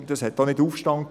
Es gab keinen Aufstand.